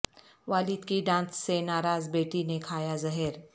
والد کی ڈانٹ سے ناراض بیٹی نے کھایا زہر